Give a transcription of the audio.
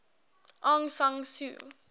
aung san suu